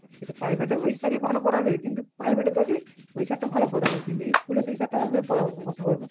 কিন্তু পাইভেট এ ওই sir ই ভালো পড়াবে কিন্তু private এ যাবি ওই sir টা ভালো পড়াবে। কিন্তু ইস্কুলে সেই sir টা আসবে পড়া .